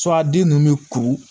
den ninnu bɛ kuru